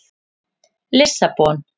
Lissabon